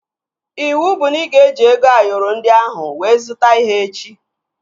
Iwu bụ na ị ga-eji ego Ayoro ndị ahụ wee zụta ihe echi!